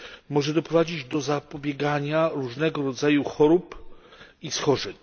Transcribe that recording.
Może doprowadzić do zapobiegania różnego rodzaju chorób i schorzeń.